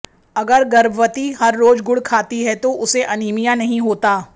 अगर गर्भवती हर रोज गुड़ खाती है तो उसे अनीमिया नहीं होता